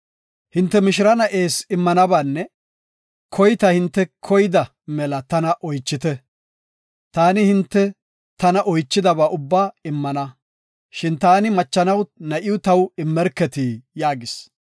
Hinte mishira na7ees immanabaanne koyta hinte koyda mela tana oychite. Taani hinte tana oychidaba ubba immana. Shin taani machanaw na7iw taw immerketi” yaagis.